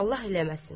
Allah eləməsin.